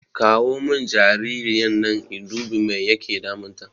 Kawo mun jaririyan nan in dubi mai yake damun ta